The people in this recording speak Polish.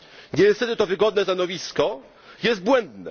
Niestety to wygodne stanowisko jest błędne.